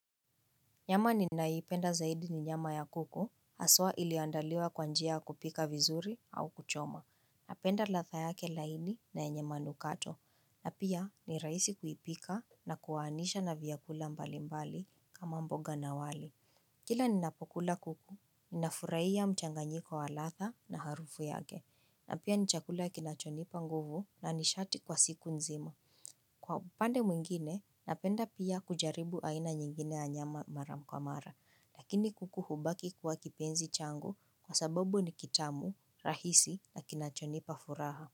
Nyama ninayoipenda zaidi ni nyama ya kuku, haswa ilioandaliwa kwa njia ya kupika vizuri au kuchoma. Napenda latha yake laini na yenye manukato. Na pia ni raisi kuipika na kuwaanisha na vyakula mbalimbali kama mboga na wali. Kila ninapokula kuku, ninafuraiya mchanganyiko wa latha na harufu yake. Na pia ni chakula kinachonipa nguvu na nishati kwa siku nzima. Kwa upande mwingine, napenda pia kujaribu aina nyingine ya nyama maram kwa mara. Lakini kuku hubaki kuwa kipenzi changu kwa sababu ni kitamu, rahisi na kinachonipa furaha.